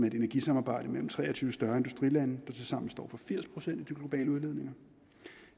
et energisamarbejde mellem tre og tyve større industrilande som tilsammen står for firs procent af de globale udledninger